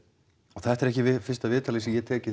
þetta er ekki fyrsta viðtalið sem ég tek í